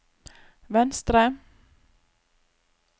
venstre